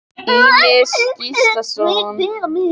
Hér er einnig að finna svar við spurningu Ýmis Gíslasonar: